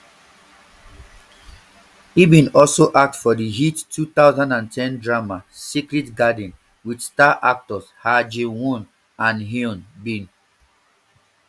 e bin also act for di hit two thousand and ten drama secret garden wit star actors ha ji won and hyun bin